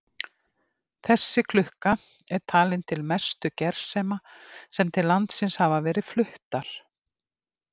Þessi klukka er talin til mestu gersema sem til landsins hafa verið fluttar.